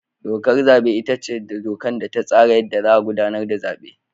Dokar zabe ita ce dokar da ta tsara yadda za a gudanar da zabe.